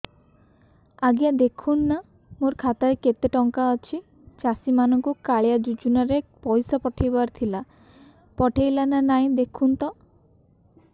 ଆଜ୍ଞା ଦେଖୁନ ନା ମୋର ଖାତାରେ କେତେ ଟଙ୍କା ଅଛି ଚାଷୀ ମାନଙ୍କୁ କାଳିଆ ଯୁଜୁନା ରେ ପଇସା ପଠେଇବାର ଥିଲା ପଠେଇଲା ନା ନାଇଁ ଦେଖୁନ ତ